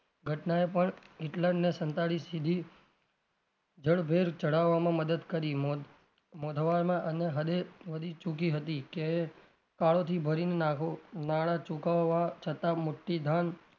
ઘટનાએ પણ હિટલરને સંતાડી સીધી જડ્ભેર ચડાવામાં મદદ કરી અને હદે વધી ચુકી હતી કે કાળો થી ભરીને નાં નાંણા ચુકવવા છતાં મોટી ધન,